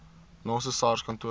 naaste sars kantoor